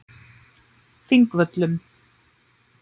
Þingvöllum